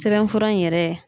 Sɛbɛn fura in yɛrɛ